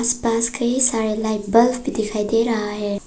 पास कई सारे light bulb भी दिखाई दे रहा है।